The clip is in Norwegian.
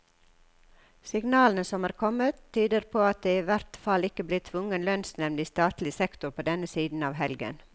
Signalene som er kommet, tyder på at det i hvert fall ikke blir tvungen lønnsnevnd i statlig sektor på denne siden av helgen.